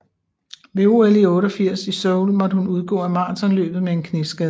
Ved OL i 1988 i Seoul måtte hun udgå af maratonløbet med en knæskade